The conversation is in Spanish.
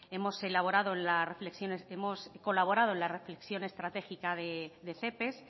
hemos colaborado en la reflexión estratégica de cepes